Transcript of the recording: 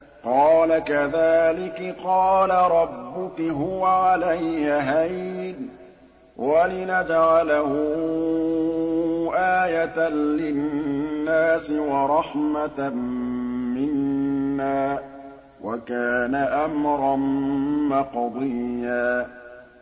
قَالَ كَذَٰلِكِ قَالَ رَبُّكِ هُوَ عَلَيَّ هَيِّنٌ ۖ وَلِنَجْعَلَهُ آيَةً لِّلنَّاسِ وَرَحْمَةً مِّنَّا ۚ وَكَانَ أَمْرًا مَّقْضِيًّا